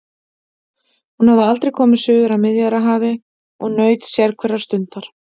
Hún hafði aldrei komið suður að Miðjarðarhafi og naut sérhverrar stundar.